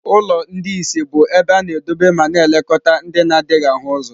Ụlọ ndị ìsì bụ ebe a na-edobe ma na-elekọta ndị na-adịghị ahụ ụzọ.